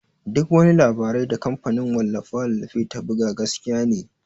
Duk wani labarai da kamfanin wallafe-wallafe ta buga gaskiya ne.